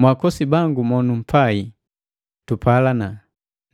Mwaakosi bangu ba numpai, tupalana,